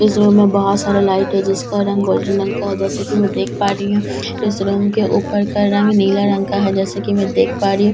इस रो में बहुत सारे लाइट है जिसका रंग गोल्डन रंग का है जैसा कि मैं देख पा रही हूं इस रूम के ऊपर का रंग नीला रंग का है जैसा कि मैं देख पा रही हूं।